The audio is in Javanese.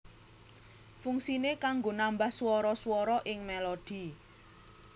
Fungsiné kanggo nambah swara swara ing melodi